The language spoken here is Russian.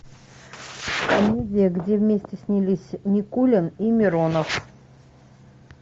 комедия где вместе снялись никулин и миронов